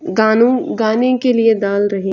गानों गाने के लिए डाल रहै है।